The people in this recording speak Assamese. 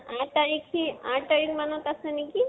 আহ আঠ তাৰিখে আঠ তাৰিখ মানত আছে নেকি?